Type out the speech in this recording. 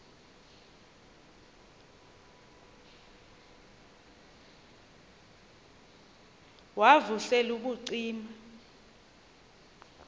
wav usel ubucima